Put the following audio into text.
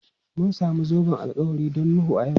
Mun samu zoben alkawari don Nuhu a yau.